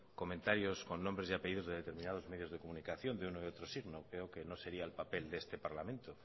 comentarios con nombres y apellidos de determinados medios de comunicación de uno y otro signo veo que no sería el papel de este parlamento